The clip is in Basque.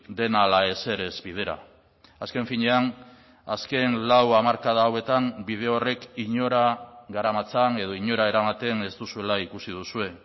dena ala ezer ez bidera azken finean azken lau hamarkada hauetan bide horrek inora garamatzan edo inora eramaten ez duzuela ikusi duzue